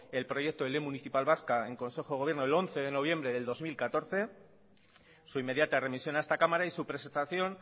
el proyecto de ley municipal vasca en consejo de gobierno e once de noviembre del dos mil catorce su inmediata remisión a esta cámara y su presentación